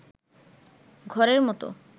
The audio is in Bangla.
ঘরের মত